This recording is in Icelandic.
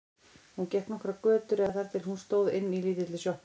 Hún gekk nokkrar götur eða þar til hún stóð inni í lítilli sjoppu.